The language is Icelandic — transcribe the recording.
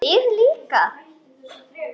Við líka?